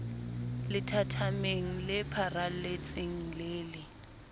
lethathameng le pharaletseng le le